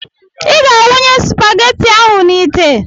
Ị ga a wụnye spageti ahụ n'itè!